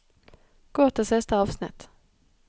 Gå til siste avsnitt